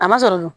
A ma sɔrɔ n ko